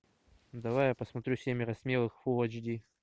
давай я посмотрю семеро смелых фулл эйч ди